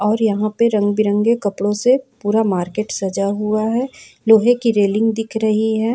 और यहां पे रंग बिरंगे कपड़ों से पूरा मार्केट सजा हुआ है लोहे कि रेलिंग दिख रही है।